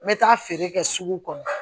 N bɛ taa feere kɛ sugu kɔnɔ